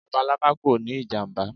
Labalaba kò ní ìjàmbá.